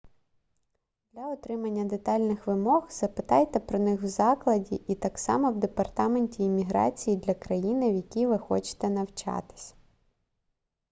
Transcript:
для отримання детальних вимог запитайте про них в закладі і так само в департаменті імміграції для країни в якій ви хочете навчатись